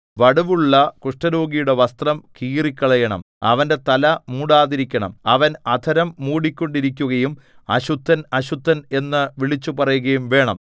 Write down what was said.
വടുവുള്ള കുഷ്ഠരോഗിയുടെ വസ്ത്രം കീറിക്കളയണം അവന്റെ തല മൂടാതിരിക്കണം അവൻ അധരം മൂടിക്കൊണ്ടിരിക്കയും അശുദ്ധൻ അശുദ്ധൻ എന്നു വിളിച്ചുപറയുകയും വേണം